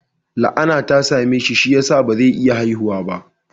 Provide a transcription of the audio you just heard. La'ana ta same shi, shi ya sa ba zai iya haihuwa ba